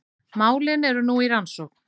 Málin eru nú í rannsókn